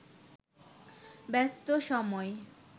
ব্যস্ত সময়